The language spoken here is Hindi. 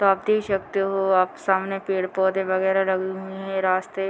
तो आप देख सकते हो आपके सामने पेड़-पौधे वगैरा लगे हुए है रास्ते --